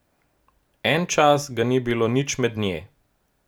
En čas ga ni bilo nič med nje.